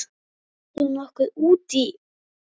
Ætlar þú nokkuð út í?